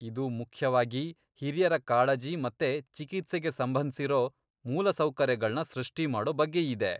ಇದು ಮುಖ್ಯವಾಗಿ ಹಿರಿಯರ ಕಾಳಜಿ ಮತ್ತೆ ಚಿಕಿತ್ಸೆಗೆ ಸಂಬಂಧ್ಸಿರೋ ಮೂಲಸೌಕರ್ಯಗಳ್ನ ಸೃಷ್ಟಿಮಾಡೋ ಬಗ್ಗೆಯಿದೆ.